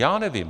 Já nevím.